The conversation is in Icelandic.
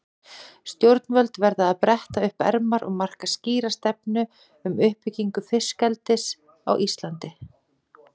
Stjórnvöld verða að bretta upp ermar og marka skýra stefnu um uppbyggingu fiskeldis á Íslandi.